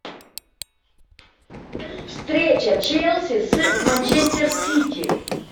встреча челси с манчестер сити